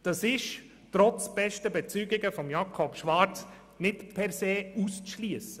Das ist trotz bester Bezeugungen von Grossrat Schwarz nicht per se auszuschliessen.